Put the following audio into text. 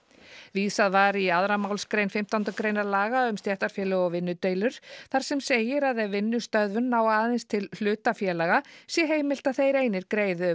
vísað var í annarri málsgrein fimmtándu greinar laga um stéttarfélög og vinnudeilur þar sem segir að ef vinnustöðvun nái aðeins til hluta félaga sé heimilt að þeir einir greiði